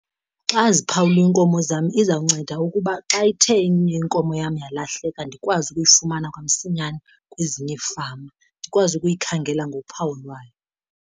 Xa ziphawuliwe iinkomo zam izawunceda ukuba xa ithe enye inkomo yam yalahleka ndikwazi ukuyifumana kwamsinyane kwezinye iifama ndikwazi ukuyikhangela ngophawu lwayo.